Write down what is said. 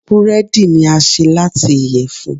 búredì ni a ṣe lati iyẹfun.